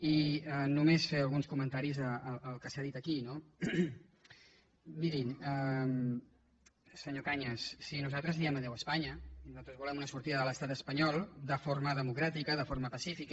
i només fer alguns comentaris al que s’ha dit aquí no miri senyor cañas sí nosaltres diem adéu espanya nosaltres volem una sortida de l’estat espanyol de forma democràtica de forma pacífica